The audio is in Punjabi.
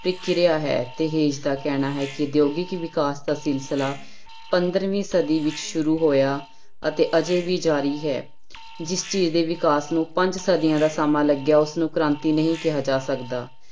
ਪ੍ਰਕਿਰਿਆ ਹੈ ਦਾ ਕਹਿਣਾ ਹੈ ਕਿ ਉਦਯੋਗਿਕ ਵਿਕਾਸ ਦਾ ਸਿਲਸਿਲਾ ਪੰਦਰਵੀਂ ਸਦੀ ਵਿੱਚ ਸ਼ੁਰੂ ਹੋਇਆ ਅਤੇ ਅਜੇ ਵੀ ਜ਼ਾਰੀ ਹੈ, ਜਿਸ ਚੀਜ਼ ਦੇ ਵਿਕਾਸ ਨੂੰ ਪੰਜ ਸਦੀਆਂ ਦਾ ਸਮਾਂ ਲੱਗਿਆ ਉਸਨੂੰ ਕ੍ਰਾਂਤੀ ਨਹੀਂ ਕਿਹਾ ਜਾ ਸਕਦਾ।